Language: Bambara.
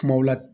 Kumaw la